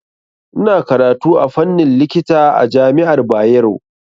Ina karatu a fannin likita a jami'ar Bayero.